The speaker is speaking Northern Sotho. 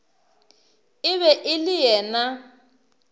e be e le yena